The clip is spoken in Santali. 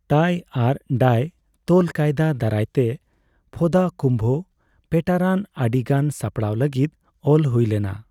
ᱴᱟᱭ ᱟᱨ ᱰᱟᱭ ᱛᱚᱞ ᱠᱟᱭᱫᱟ ᱫᱟᱨᱟᱭᱛᱮ, ᱯᱷᱳᱫᱟ ᱠᱩᱢᱵᱷᱚ ᱯᱮᱴᱟᱨᱟᱱ ᱟᱹᱰᱤᱜᱟᱱ ᱥᱟᱯᱲᱟᱣ ᱞᱟᱹᱜᱤᱫ ᱚᱞ ᱦᱩᱭ ᱞᱮᱱᱟ ᱾